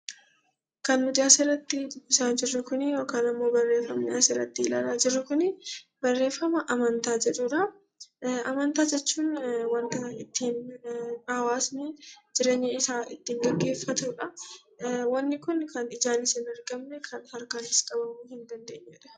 Amantaa jechuun wanta ittiin hawaasni jireenya isaa ittiin gaggeeffatudha. Wanti kun kan ijaanis hin argamne kan harkaanis qabamuu hin dandeenyedha.